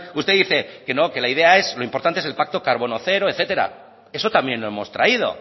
usted dice que no que la idea es lo importante es el pacto carbono cero etcétera eso también lo hemos traído